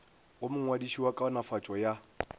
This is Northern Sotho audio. go mongwadiši wa kaonafatšo ya